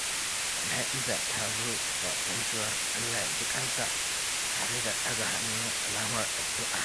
Jana’iza ta zo da gaisuwar "Allah ya jikansa" tare da ɗaga hannu alamar addu’a.